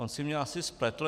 On si mě asi spletl.